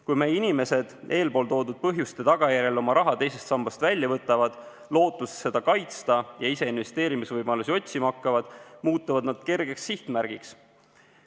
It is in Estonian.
Kui meie inimesed eespool toodud põhjuste tagajärjel oma raha teisest sambast välja võtavad, lootes seda kaitsta, ja ise investeerimisvõimalusi otsima hakkavad, muutuvad nad kergeks sihtmärgiks.